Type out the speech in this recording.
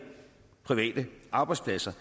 private arbejdspladser